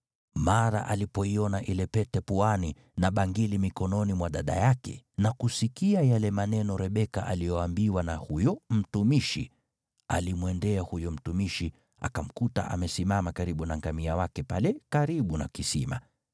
Mara alipoiona ile pete puani, na bangili mikononi mwa dada yake na kusikia yale maneno Rebeka aliyoambiwa na huyo mtumishi, alimwendea huyo mtumishi, akamkuta amesimama karibu na ngamia wake pale karibu na kisima.